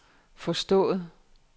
forstået